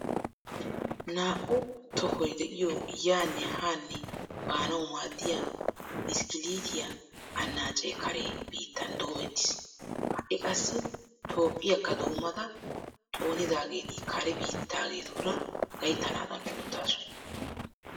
Naa"u tohoy de"iyoo yaanne haanne baanawu maaddiya biskkiliitiyaa annaacee kare biittan doomettis. Ha"i qassi Toophphiyaakka doommada xoonidaageeti kare bittaageetura gayttanaadan oottaasu.